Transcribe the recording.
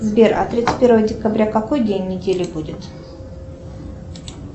сбер а тридцать первого декабря какой день недели будет